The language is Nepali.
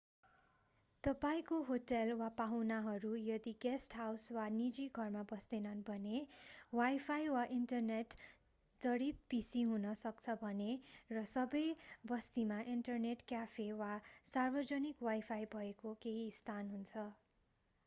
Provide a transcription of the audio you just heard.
तपाईंको होटेल वा पाहुनाहरू यदि गेस्ट हाउस वा निजी घरमा बस्दैछन् भने वाईफाई वा इन्टरनेट जडित पीसी हुन सक्छ भने र सबै बस्तीमा ईन्टरनेट क्याफे वा सार्वजनिक वाईफाई भएको केहि स्थान हुन्छ।